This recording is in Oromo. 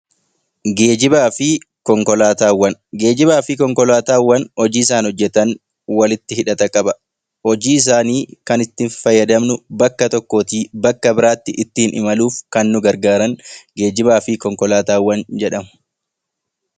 Geejjibaa fi Konkolaataawwan Geejjibaa fi konkolaataawwan hojii isaan hojjetan walitti hidhata qaba. Hojii isaanii kan itti fayyadamnu bakka tokkootii bakka biraatti ittiin imaluuf kan nu gargaaran geejjibaa fi konkolaataawwan jedhamu